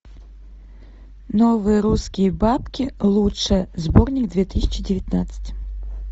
новые русские бабки лучшее сборник две тысячи девятнадцать